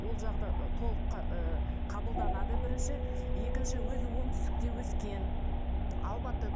ол жағы да ы толық ы қабылданады бірінші екінші өзі оңтүстікте өскен алматыда